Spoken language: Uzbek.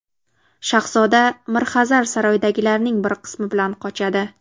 Shahzoda Mirxazar saroydagilarning bir qismi bilan qochadi.